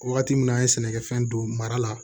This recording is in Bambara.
Wagati min an ye sɛnɛkɛfɛn don mara la